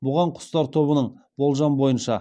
бұған құстар тобының болжам бойынша